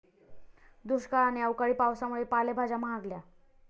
दुष्काळ आणि अवकाळी पावसामुळे पालेभाज्या महागल्या